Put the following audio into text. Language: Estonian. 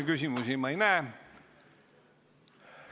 Küsimusi ma ei näe.